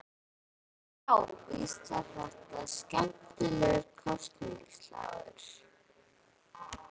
Já, víst var þetta skemmtilegur kosningaslagur.